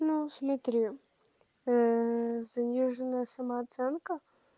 ну смотри ээ заниженная самооценка